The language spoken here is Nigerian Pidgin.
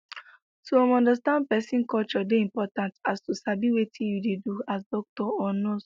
to um understand pesin culture dey important as to sabi wetin you dey do as doctor or nurse